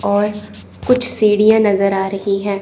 और कुछ सीढियां नजर आ रही हैं।